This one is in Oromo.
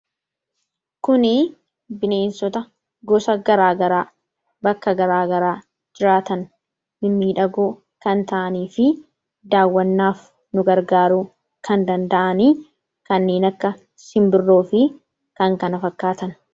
kuni bineensota gosa garaagaraa, bakka garaagaraa jiraatan mimmiidhagoo kan ta'anii fi daawwannaaf nu gargaaruu kan danda'aniifi kanniin akka simbirroo fi kan kana fakkaatan